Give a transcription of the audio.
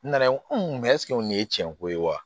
N nana n ko nin ye tiɲɛko ye wa